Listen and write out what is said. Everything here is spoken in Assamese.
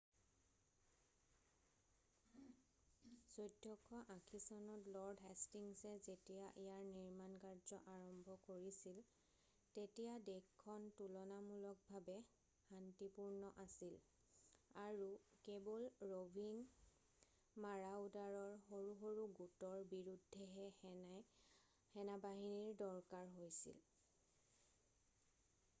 1480 চনত লৰ্ড হেষ্টিংছে যেতিয়া ইয়াৰ নিৰ্মাণ কাৰ্য আৰম্ভ কৰিছিল তেতিয়া দেশখন তুলনামূলকভাৱে শান্তিপূৰ্ণ আছিল আৰু কেৱল ৰ’ভিং মাৰাওডাৰৰ সৰু সৰু গোটৰ বিৰুদ্ধেহে সেনেবাহিনীৰ দৰকাৰ হৈছিল।